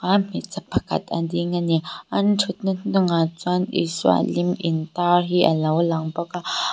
a hmeichhe pakhat a ding ani an thutna hnungah chuan isua lim intar hi alo lang bawk a.